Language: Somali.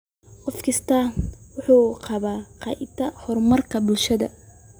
Qof kastaa wuxuu ka qayb qaataa horumarinta bulshada.